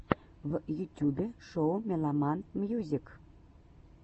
в ютюбе шоу меломан мьюзик